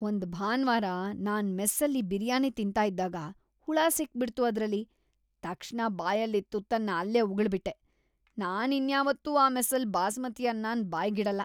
ಒಂದ್ ಭಾನ್ವಾರ ನಾನ್ ಮೆಸ್ಸಲ್ಲಿ ಬಿರಿಯಾನಿ ತಿಂತಾ ಇದ್ದಾಗ ಹುಳ ಸಿಕ್ಬಿಡ್ತು ಅದ್ರಲ್ಲಿ, ತಕ್ಷಣ ಬಾಯಲ್ಲಿದ್ ತುತ್ತನ್ನ‌ ಅಲ್ಲೇ ಉಗುಳ್ಬಿಟ್ಟೆ. ನಾನ್ ಇನ್ಯಾವತ್ತೂ ಆ ಮೆಸ್ಸಲ್ಲಿ ಬಾಸ್ಮತಿ ಅನ್ನನ ಬಾಯ್ಗಿಡಲ್ಲ.